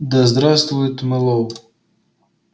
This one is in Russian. да здравствует мэллоу